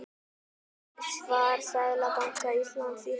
Svar Seðlabanka Íslands í heild